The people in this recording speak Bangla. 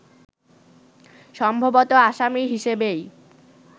সম্ভবত আসামি হিসেবেই